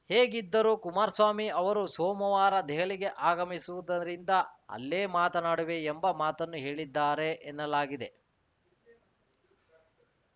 ಹೇಗಿದ್ದರೂ ಕುಮಾರಸ್ವಾಮಿ ಅವರು ಸೋಮವಾರ ದೆಹಲಿಗೆ ಆಗಮಿಸುವುದರಿಂದ ಅಲ್ಲೇ ಮಾತನಾಡುವೆ ಎಂಬ ಮಾತನ್ನು ಹೇಳಿದ್ದಾರೆ ಎನ್ನಲಾಗಿದೆ